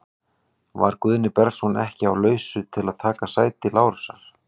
Var Guðni Bergsson ekki á lausu til að taka sæti Lárusar?